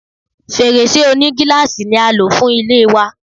Fèrèsé onígíláàsì ni a lò fún ilé wa.